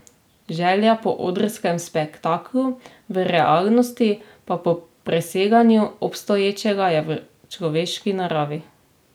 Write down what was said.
Želja po odrskem spektaklu, v realnosti pa po preseganju obstoječega, je v človeški naravi.